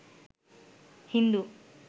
Hindu